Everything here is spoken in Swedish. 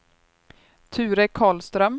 Ture Karlström